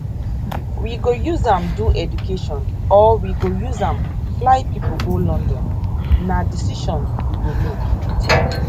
we go use am do education or we go use am fly pipo go london na decision you go make e tok